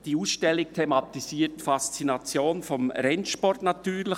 Diese Ausstellung thematisiert natürlich die Faszination des Rennsports.